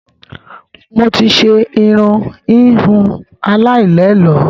Mo ti ṣe irun ìhun aláì lẹ ẹ̀lọ́